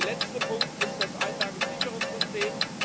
Der letzte Punkt ist das Einlagensicherungssystem.